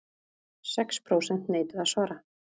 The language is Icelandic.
Sex prósent neituðu að svara